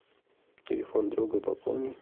телефон друга пополни